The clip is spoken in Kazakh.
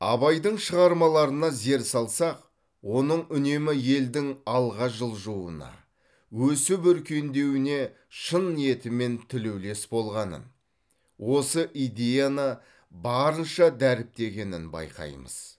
абайдың шығармаларына зер салсақ оның үнемі елдің алға жылжуына өсіп өркендеуіне шын ниетімен тілеулес болғанын осы идеяны барынша дәріптегенін байқаймыз